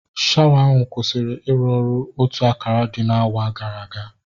Shawa ahụ kwụsịrị iru ọrụ otu akara dị n'awa gara aga